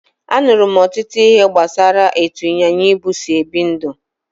Anụrụ m ọtụtụ ihe gbasara etu ịnyịnya ibu si ebi ndụ